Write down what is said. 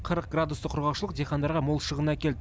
қырық градусты құрғақшылық диқандарға мол шығын әкелді